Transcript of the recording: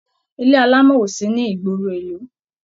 Ilé alámọ̀ o sí ní ìgboro ìlú.